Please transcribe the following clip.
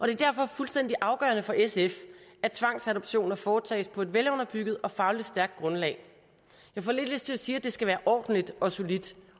er derfor fuldstændig afgørende for sf at tvangsadoptioner foretages på et velunderbygget og fagligt stærkt grundlag jeg får lidt lyst til at sige at det skal være ordentligt og solidt